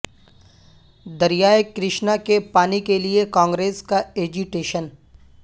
دریائے کرشنا کے پانی کیلئے کانگریس کا ایجی ٹیشن